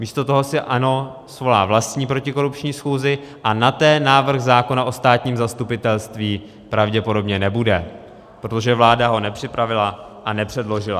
Místo toho si ANO svolá vlastní protikorupční schůzi a na té návrh zákona o státním zastupitelství pravděpodobně nebude, protože vláda ho nepřipravila a nepředložila.